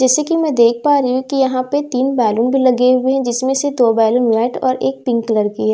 जैसे कि मैं देख पा रही हूं यहां पर तीन बालून लगे हुए हैं जिसमें से दो बैलून व्हाइट नहीं और एक पिंक कलर की है ।